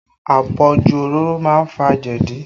Àpọ̀jù òróró má ń fa jẹ̀dí